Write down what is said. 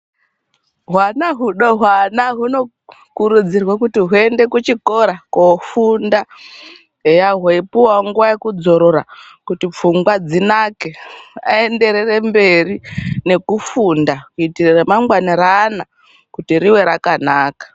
Hwana hudodori hunokurudzirwa kuti huende kuchikora kofunda eya weipuwa zotora kuti pfungwa dzinake aenderere mberi rekufunda kuitira ramangwana reanaaka ringe rakanaka.